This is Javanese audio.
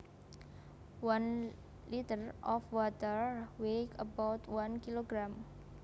One litre of water weighs about one kilogram